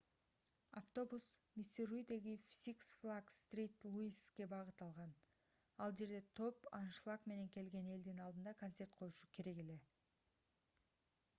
автобус миссуридеги six flags st. louis'ке багыт алган. ал жерде топ аншлаг менен келген элдин алдында концерт коюшу керек эле